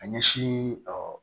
A ɲɛsin